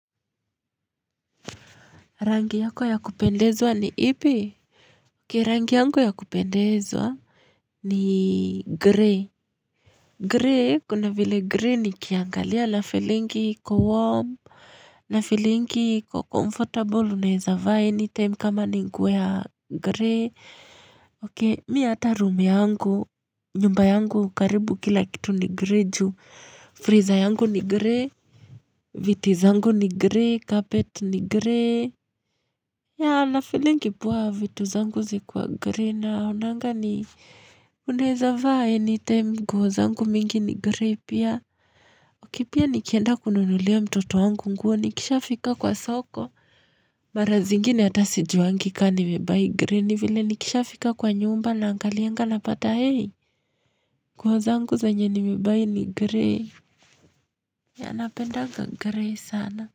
Rangi yako ya kupendezwa ni ipi? Rangi yangu ya kupendezwa ni grey. Grey, kuna vile grey nikiangalia nafeelingi iko warm. Nafeelingi iko comfortable, unaweza vaa any time kama ni nguo ya grey. Mi hata room yangu, nyumba yangu, karibu kila kitu ni grey ju. Freezer yangu ni grey. Viti zangu ni grey, carpet ni grey. Yeah, nafeelingi poa vitu zangu zikiwa grey naonanga ni unaweza vaa anytime, nguo zangu mingi ni gray pia. Okay, pia nikienda kununulia mtoto wangu nguo nikishafika kwa soko. Mara zingine hata sijuangi ka nimebuy grey, ni vile nikishafika kwa nyumba naangalianga napata hei. Nguo zangu zenye nimebuy ni grey. Ya, napendanga gray sana.